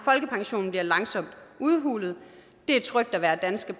folkepensionen bliver langsomt udhulet det er trygt at være danske